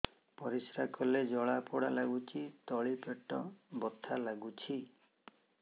ପରିଶ୍ରା କଲେ ଜଳା ପୋଡା ଲାଗୁଚି ତଳି ପେଟ ବଥା ଲାଗୁଛି